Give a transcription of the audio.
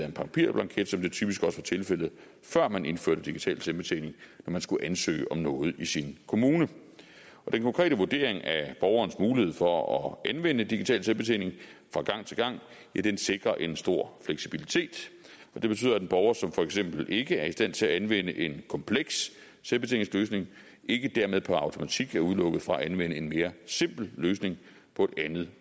en papirblanket som det typisk også var tilfældet før man indførte digital selvbetjening når man skulle ansøge om noget i sin kommune den konkrete vurdering af borgerens mulighed for at anvende digital selvbetjening fra gang til gang sikrer en stor fleksibilitet det betyder at en borger som for eksempel ikke er i stand til at anvende en kompleks selvbetjeningsløsning ikke dermed per automatik kan udelukkes fra at anvende en mere simpel løsning på et andet